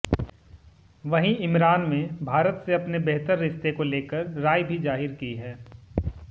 वहीं इमरान में भारत से अपने बेहतर रिश्ते को लेकर राय भी जाहिर की है